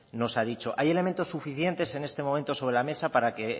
nos ha dicho hay elementos suficientes en este momento sobre la mesa para que